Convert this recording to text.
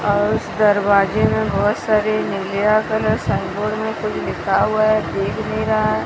औ उस दरवाजे में बहुत सारे नीलिया कलर साइन बोर्ड में कुछ लिखा हुआ है दिख नहीं रहा है।